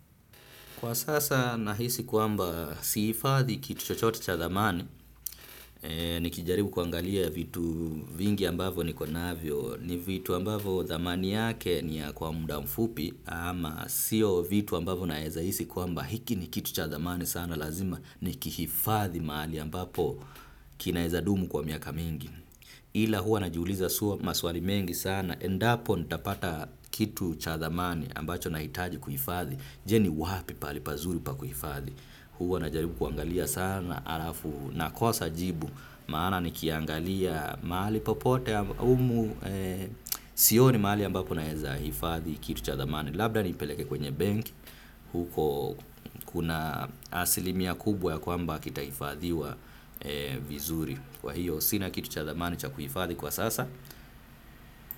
Kwa sasa nahisi kwamba sihifadhi kitu chochote cha thamani nikijaribu kuangalia vitu vingi ambavo niko navyo ni vitu ambavo thamani yake ni ya kwa muda mfupi ama siyo vitu ambavo naeza hisi kwamba hiki ni kitu cha thamani sana lazima nikihifadhi mahali ambapo kinaeza dumu kwa miaka mingi. Ila huwa najuuliza suwa maswali mengi sana, endapo nitapata kitu cha thamani ambacho nahitaji kuhifadhi, je, ni wapi pahali pazuri pa kuhifadhi, huwa najaribu kuangalia sana, alafu nakosa jibu, maana nikiangalia mahali popote humu sioni mahali ambapo naeza hifadhi kitu cha thamani, labda nipeleke kwenye benk, huko kuna asilimia kubwa ya kwamba kitahifadhiwa vizuri. Kwa hiyo sina kitu cha thamani cha kuhifadhi kwa sasa.